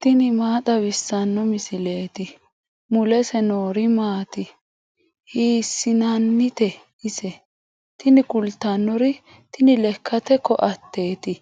tini maa xawissanno misileeti ? mulese noori maati ? hiissinannite ise ? tini kultannori tini lekkate koateeti